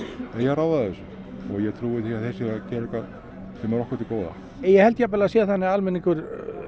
eigi að ráða þessu og ég trúi því að þeir séu að gera eitthvað sem er okkur til góða ég held jafnvel að það sé þannig að almenningur